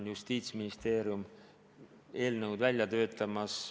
Justiitsministeerium töötab välja sellekohast eelnõu.